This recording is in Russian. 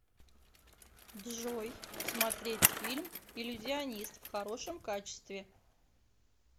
джой смотреть фильм иллюзионист в хорошем качестве